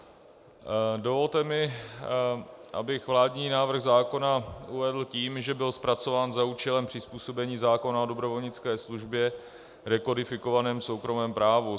Dovolte mi, abych vládní návrh zákona uvedl tím, že byl zpracován za účelem přizpůsobení zákona o dobrovolnické službě rekodifikovanému soukromém právu.